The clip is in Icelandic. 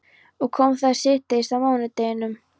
Og kom þar síðdegis á mánudeginum.